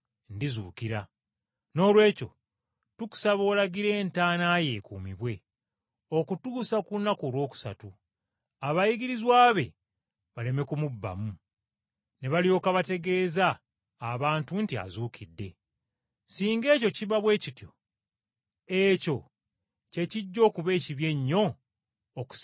Noolwekyo tukusaba olagire entaana ye ekuumibwe, okutuusa ku lunaku olwokusatu, abayigirizwa be baleme kumubbamu, ne balyoka bategeeza abantu nti azuukidde! Singa ekyo kiba bwe kityo, ekyo kye kijja okuba ekibi ennyo okusinga n’ekyasooka.”